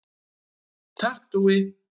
Takk Dúi.